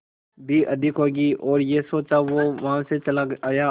भी अधिक होगी और यह सोच वो वहां से चला आया